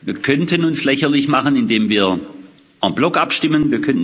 Wir könnten uns lächerlich machen, indem wir en bloc abstimmen.